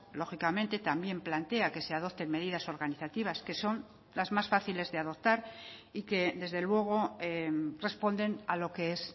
lógicamente también plantea que se adopten medidas organizativas que son las más fáciles de adoptar y que desde luego responden a lo que es